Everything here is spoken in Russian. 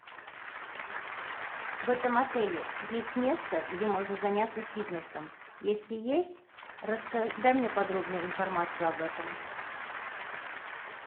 в этом отеле есть место где можно заняться фитнесом если есть дай мне подробную информацию об этом